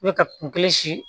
I bɛ ka kun kelen si